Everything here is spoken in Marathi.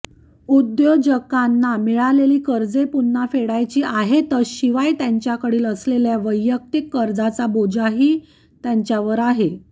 उद्योजकांना मिळालेली कर्जे पुन्हा फेडायची आहेतच शिवाय त्यांच्याकडील असेलल्या वैयक्तिक कर्जाचा बोजाही त्यांच्यावर आहे